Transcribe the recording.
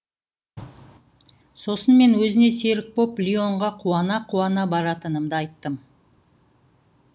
сосын мен өзіне серік боп лионға қуана қуана баратынымды айттым